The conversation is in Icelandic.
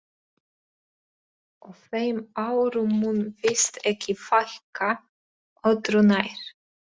Og þeim árum mun víst ekki fækka, öðru nær.